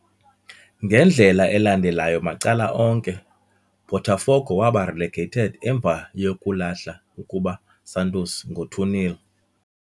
Ngendlela elandelayo macala onke, Botafogo waba relegated emva yokulahla ukuba Santos ngo 2-0.